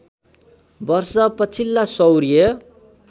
वर्ष पछिल्ला सौर्य